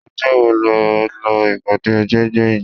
ọjọ́ wo lọ ìpàdé ẹgbẹ́ gbẹ̀yìn?